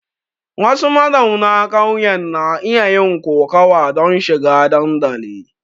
Wasu mazauna ƙauyen na iya yin kokawa don shiga dandali.